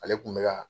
Ale kun bɛ ka